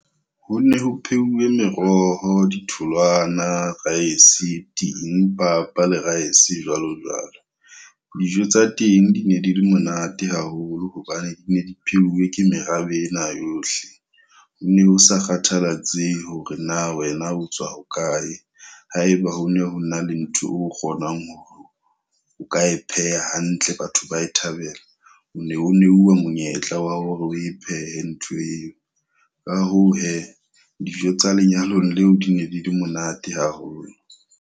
Ho ne ho pheuwe meroho, ditholwana, rice, ting, papa le rice jwalo jwalo. Dijo tsa teng di ne di le monate haholo hobane dine di pheuwe ke merabeng ena yohle. Ho ne ho sa kgathalatsehe hore na wena o tswa hokae, haeba ho ne ho na le ntho o kgonang hore o ka e pheha hantle batho ba e thabela. O ne o neuwa monyetla wa hore o e phehe ntho eo. Ka hoo he dijo tsa lenyalong leo di ne di le monate haholo.